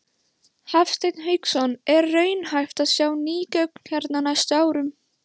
Hafsteinn Hauksson: Er raunhæft að sjá ný göng hérna á næstu árum?